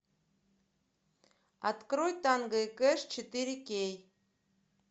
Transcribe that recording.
открой танго и кэш четыре кей